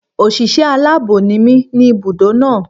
Òṣìṣẹ́ aláàbọ̀ ni mí ní ibùdó náà.